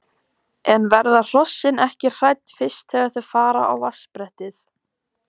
En verða hrossin hrædd fyrst þegar þau fara á vatnsbrettið?